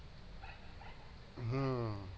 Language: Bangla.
হম